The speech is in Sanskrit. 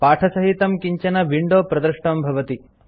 पाठसहितं किञ्चन विंडो प्रदृष्टं भवति